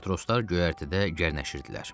Matroslar göyərtədə gərnəşirdilər.